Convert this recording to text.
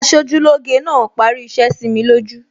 Aṣojúlóge náà parí iṣẹ́ sími lójú